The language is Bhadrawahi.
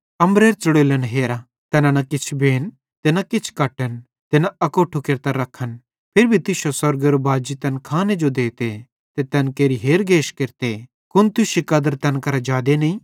अम्बरेरे च़ुड़ोल्लन हेरा तैना न किछ बेन ते न किछ कट्टन ते न अकोट्ठे केरतां रखन फिरी भी तुश्शो स्वर्गेरो बाजी तैन खाने जो देते ते तैन केरि हेरगेश केरते कुन तुश्शी कदर तैन करां जादे नईं